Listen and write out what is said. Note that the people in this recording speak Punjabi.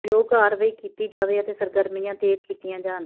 ਯੋਗ ਕਾਰਵਾਈ ਕੀਤੀ ਜਾਵੇ ਅਤੇ ਸਰਗਰਮੀਆਂ ਤੇਜ਼ ਕੀਤੀਆਂ ਜਾਣ